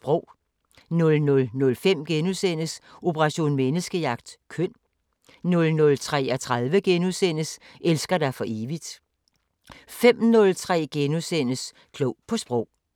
00:05: Operation Menneskejagt: Køn * 00:33: Elsker dig for evigt * 05:03: Klog på Sprog *